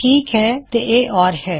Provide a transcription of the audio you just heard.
ਠੀਕ ਹੈ ਤੇ ਇਹ ਓਰ ਹੈ